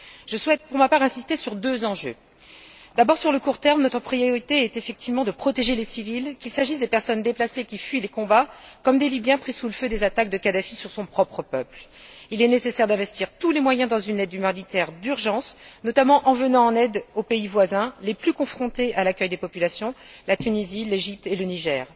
Je souhaite pour ma part insister sur deux enjeux d'abord sur le court terme, notre priorité est, effectivement, de protéger les civils, qu'il s'agisse des personnes déplacées qui fuient les combats comme des Libyens pris sous le feu des attaques de Kadhafi sur son propre peuple. Il est nécessaire d'investir tous les moyens dans une aide humanitaire d'urgence, notamment en venant en aide aux pays voisins les plus confrontés à l'accueil des populations la Tunisie, l'Égypte et le Niger.